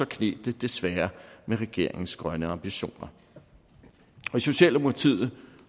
kneb det desværre med regeringens grønne ambitioner i socialdemokratiet